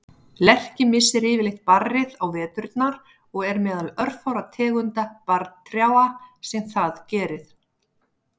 Lerki missir yfirleitt barrið á veturna og er meðal örfárra tegunda barrtrjáa sem það gerir.